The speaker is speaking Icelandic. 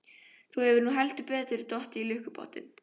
Þú hefur heldur betur dottið í lukkupottinn!